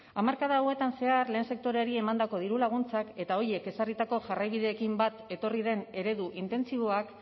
hamarkada hauetan zehar lehen sektoreari emandako dirulaguntzak eta horiek ezarritako jarraibideekin bat etorri den eredu intentsiboak